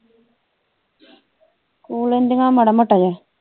ਕੂ ਲੈਂਦੀਆਂ ਮਾੜਾ ਮੋਟਾ ਜਿਆ